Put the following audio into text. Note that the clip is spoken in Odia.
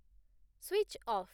switch of